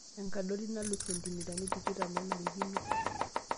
Enkadori nalus sentimitani tikitam nanarikino.